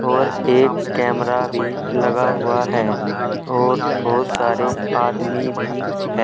और एक कैमरा भी लगा हुआ है और बहुत सारे आदमी भी हैं।